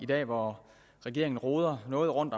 dag hvor regeringen roder noget rundt